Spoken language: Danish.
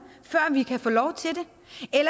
før vi kan få lov til